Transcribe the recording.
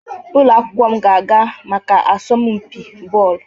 Ụlọ akwụkwọ m ga-aga maka asọmpi Bọọlụ.